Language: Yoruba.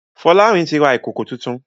Folarin tí ra Ìkòkò títún.